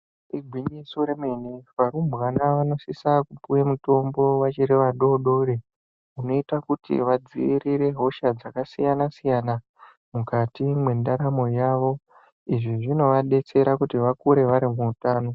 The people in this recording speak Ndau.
Igwinyiso remene, varumbwana vanosisa kupuwa mutombo vachiri vana vadoodori, zvinoita kuti vadziirire hosha dzakasiyana-siyana mukati mwendaramo yavo, izvi zvinovadetsera kuti vakure vari vatano.